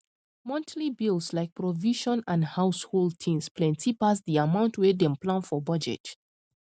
monthly bills like provision and household things plenty pass di amount wey dem plan for budget